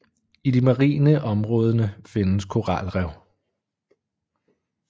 I de marine områdene findes koralrev